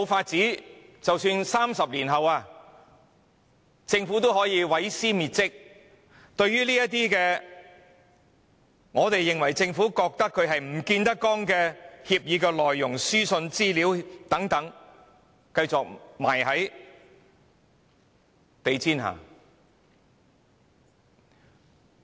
即使在30年後，政府依然可以毀屍滅跡，把這些政府認為見不得光的協議或書信繼續藏在地毯下。